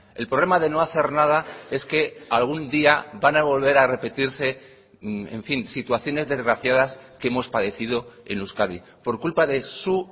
el problema de no hacer nada es que algún día van a volver a repetirse en fin situaciones desgraciadas que hemos padecido en euskadi por culpa de su